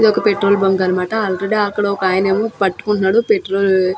ఒక petrol bunk అన్నమాట already ఒక ఆయన ఏమో పట్టుకుంటున్నాడు పెట్రోల్ --